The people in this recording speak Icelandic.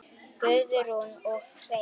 Guðrún og Hreinn.